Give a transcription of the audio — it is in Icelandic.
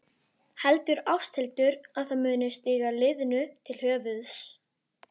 Heldur Ásthildur að það muni stíga liðinu til höfuðs?